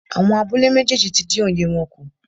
Àwọn abúlé méjèèjì tí dín oye wọn kù.